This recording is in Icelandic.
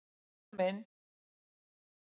Við förum inn!